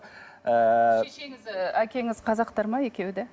ыыы шешеңіз әкеңіз қазақтар ма екеуі де